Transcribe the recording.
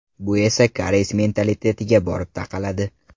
Bu esa koreys mentalitetiga borib taqaladi.